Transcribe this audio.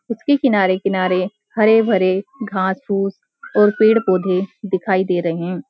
उसके किनारे-किनारे हरे-भरे घास-फूस और पेड़-पौधे दिखाई दे रहे हैं।